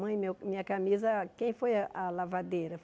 Mãe, meu minha camisa, quem foi a a lavadeira?